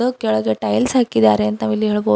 ಕೆಳಗೆ ಟೈಲ್ಸ್ ಹಾಕಿದ್ದಾರೆ ಅಂತ ನಾವು ಇಲ್ಲಿ ಹೇಳಬೋದ್ --